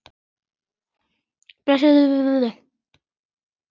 Búsett í Noregi.